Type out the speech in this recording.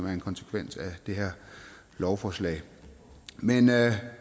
er en konsekvens af det her lovforslag men